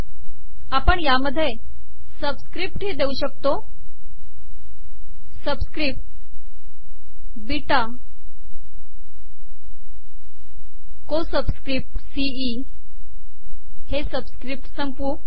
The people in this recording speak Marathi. आपण यातच सबिसकपट बीटा को सबिसकपट सी ई हे सबिसकपट सबिसकपट संपवू